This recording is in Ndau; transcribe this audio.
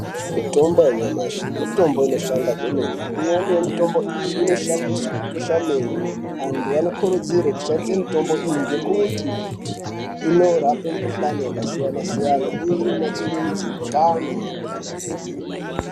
Mutombo yanyamashi mitombo inoshanda kwemene imweni yemutombo iyi inoshandiswe kukesha meno antu anokurudzirwe kushandise mutombo iyi ngekuti inorape mukhulani yakasiyana siyana uye inonatsurudze mukanwa kwemene.